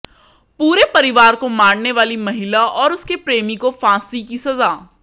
पूरे परिवार को मारने वाली महिला और उसके प्रेमी को फांसी की सज़ा